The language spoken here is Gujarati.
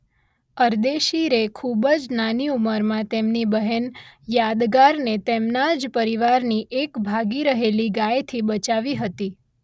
અરદેશીરે ખૂબ જ નાની ઉમરમાં તેમની બહેન યાદગારને તેમના જ પરિવારની એક ભાગી રહેલી ગાયથી બચાવી હતી.